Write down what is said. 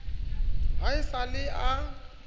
ha e sa le a